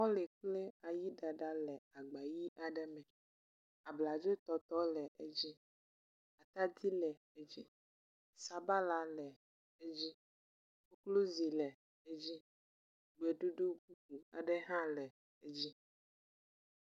Mɔli kple ayiɖaɖa le agba ʋi aɖe me. Abladzotɔtɔ le edzi. Atadi le edzi. Sabala le edzi. Koklozi le edzi. Gbeɖuɖu hã le edzi.